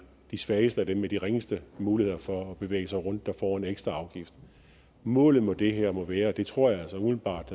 de svageste og dem med de ringeste muligheder for at bevæge sig rundt der får en ekstra afgift målet med det her må være og det tror jeg altså umiddelbart